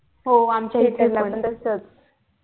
हो आमच्या इथे पण तसंच